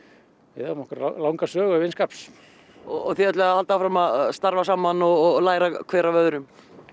við eigum okkar langa sögu af vinskap og þið ætlið að halda áfram að starfa saman og læra hver af öðrum